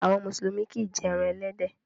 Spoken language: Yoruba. Àwọn Mùsùlùmí kìí jé èràn elédè